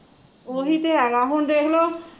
ਓਹੀ ਤੇ ਹੈਗਾ ਹੁਣ ਦੇਖਲੋ